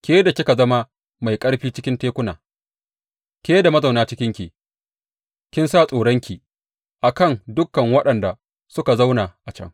Ke da kika zama mai ƙarfi cikin tekuna, ke da mazauna cikinki; kin sa tsoronki a kan dukan waɗanda suka zauna a can.